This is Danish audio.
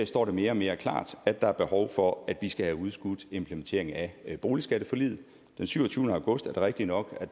står det mere mere og klart at der er behov for at vi skal have udskudt implementeringen af boligskatteforliget den syvogtyvende august er det rigtigt nok